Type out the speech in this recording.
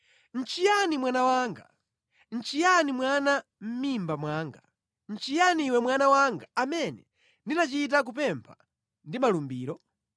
Nʼchiyani mwana wanga? Nʼchiyani mwana wa mʼmimba mwanga? Nʼchiyani iwe mwana wanga amene ndinachita kupempha ndi malumbiro?